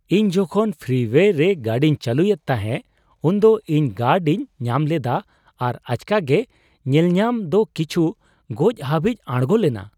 ᱤᱧ ᱡᱚᱠᱷᱚᱱ ᱯᱷᱨᱤᱣᱳᱭᱮ ᱨᱮ ᱜᱟᱹᱰᱤᱧ ᱪᱟᱹᱞᱩᱭᱮᱫ ᱛᱟᱦᱮᱸ ᱩᱱᱫᱚ ᱤᱧ ᱜᱟᱨᱰᱤᱧ ᱧᱟᱢ ᱞᱮᱫᱟ ᱟᱨ ᱟᱪᱠᱟᱜᱮ ᱧᱮᱞᱧᱟᱢ ᱫᱚ ᱠᱤᱪᱷᱩ ᱜᱚᱡ ᱦᱟᱹᱵᱤᱡ ᱟᱲᱜᱳ ᱞᱮᱱᱟ ᱾